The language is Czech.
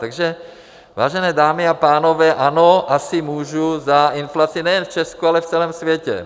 Takže, vážené dámy a pánové, ano, asi můžu za inflaci nejen v Česku, ale v celém světě.